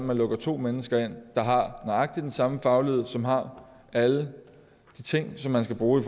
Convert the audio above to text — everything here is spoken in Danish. man lukker to mennesker ind der har nøjagtig den samme faglighed som har alle de ting som man skal bruge i